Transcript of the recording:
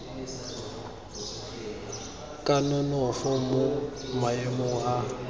ka nonofo mo maemong a